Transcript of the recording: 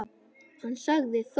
Hann sagði þó